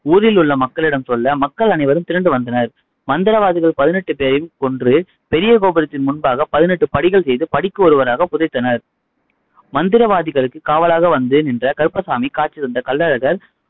ஊரில் உள்ள மக்களிடம் சொல்ல, மக்கள் அனைவரும் திரண்டு வந்தனர். மந்திரவாதிகள் பதினெட்டு பேரையும் கொன்று, பெரிய கோபுரத்தின் முன்பாக பதினெட்டு படிகள் செய்து, படிக்கு ஒருவராக புதைத்தனர். மந்திரவாதிகளுக்கு காவலாக வந்து நின்ற கருப்பசாமி காட்சி தந்த கள்ளழகர்